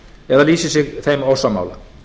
eða lýsi sig þeim ósammála